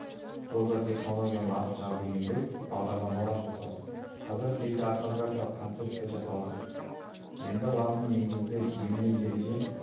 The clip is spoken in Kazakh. тобы технологияны латыншаға бейімдеу бағдарламалар жасау қазіргі кезде орфографиялық концепция жасалды енді латын негізді емле-ереже